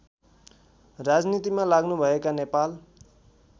राजनीतिमा लाग्नुभएका नेपाल